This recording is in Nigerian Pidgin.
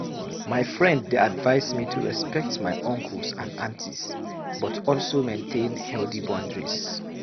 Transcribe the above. My friend dey advise me to respect my uncles and aunties, but also maintain healthy boundaries.